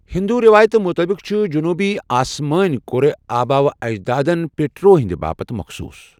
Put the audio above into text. ہِنٛدو رٮ۪وایتہٕ مُطٲبِق چھُ جنوٗبی آسمٲنۍ کرہ آباؤ اجدادَن پِٹرو ہٕنٛد باپتھ مخصوٗص